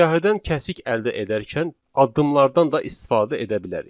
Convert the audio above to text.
Siyahıdan kəsik əldə edərken addımlardan da istifadə edə bilərik.